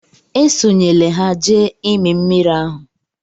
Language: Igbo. Esonyela ha jee ịmị mmiri ahụ!